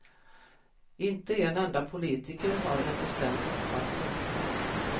Inte en enda politiker har en bestämd uppfattning.